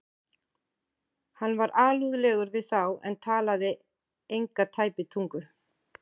Hann var alúðlegur við þá en talaði enga tæpitungu.